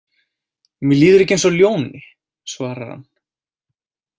Mér líður ekki eins og ljóni, svarar hann.